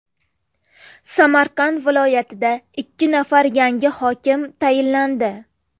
Samarqand viloyatida ikki nafar yangi hokim tayinlandi .